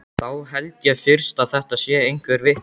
Þá held ég fyrst að þetta sé einhver vitleysa.